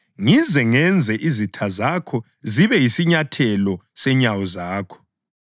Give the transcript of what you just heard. ngize ngenze izitha zakho zibe yisinyathelo senyawo zakho.” + 20.43 AmaHubo 110.1 ’